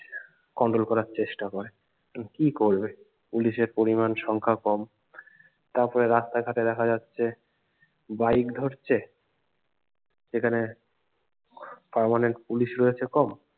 control করার চেষ্টা করে কিন্ত কি করবে পুলিশের পরিমান সংখ্যা কম তারপরে রাস্তাঘাটে দেখা যাচ্ছে যে বাইক ধরছে সেখানে permanent পুলিশ রয়েছে কম